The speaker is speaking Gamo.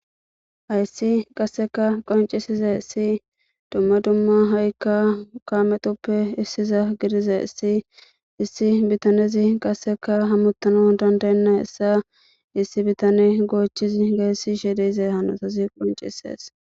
Haysi qaseka qonc'isizaysi duma duma hayka kametuppe isiza gidizaysi issi bitanezi qaseka hamutanawu danda'enaysa issi bitaney gochizi gelishe diza hanotazi qonc'ises.